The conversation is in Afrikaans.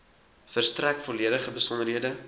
verstrek volledige besonderhede